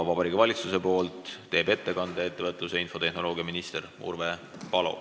Vabariigi Valitsuse nimel teeb ettekande ettevõtlus- ja infotehnoloogiaminister Urve Palo.